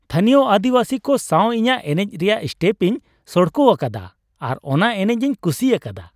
ᱛᱟᱹᱱᱤᱭᱚ ᱟᱹᱫᱤᱵᱟᱹᱥᱤ ᱠᱚ ᱥᱟᱶ ᱤᱧᱟᱹᱜ ᱮᱱᱮᱡ ᱨᱮᱭᱟᱜ ᱥᱴᱮᱯ ᱤᱧ ᱥᱚᱲᱠᱚ ᱟᱠᱟᱫᱟ ᱟᱨ ᱚᱱᱟ ᱮᱱᱮᱡ ᱤᱧ ᱠᱩᱥᱤ ᱟᱠᱟᱫᱟ ᱾